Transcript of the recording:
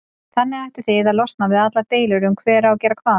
Þannig ættuð þið að losna við allar deilur um hver á að gera hvað.